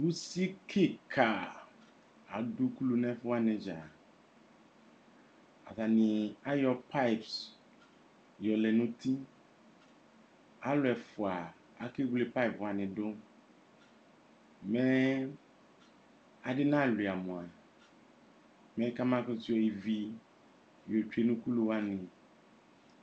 Usi kika , adʋ ukulu nɛfuwani dzaaAtani ayɔ pipes yɔlɛ nutiAlʋ ɛfua akewle pipes wani dʋMɛɛ adi naɣla mu, mɛ kamakutu yɔ ivi yotsoe nʋ ukulu wani